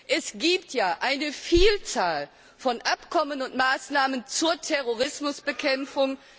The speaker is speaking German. Es gibt ja eine Vielzahl von Abkommen und Maßnahmen zur Terrorismusbekämpfung.